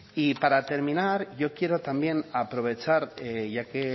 y para terminar yo quiero también aprovechar ya que